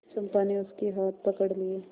चंपा ने उसके हाथ पकड़ लिए